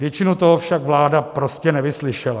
Většinu toho však vláda prostě nevyslyšela.